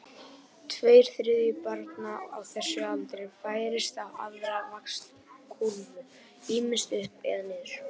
Tveir þriðju barna á þessum aldri færast á aðra vaxtarkúrfu, ýmist upp eða niður.